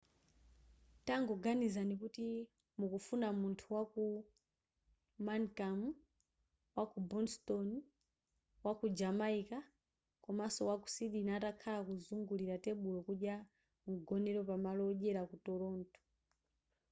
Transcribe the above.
tangoganizani ngati mukufuna munthu waku mancun waku boston waku jamaica komaso waku sydney atakhala kuzungulira tebulo kudya mgonero pamalo odyera ku toronto